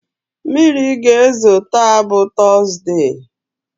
Mmiri ga-ezo taa bụ tọzdee.